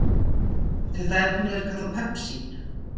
Þetta efni er kallað pepsín.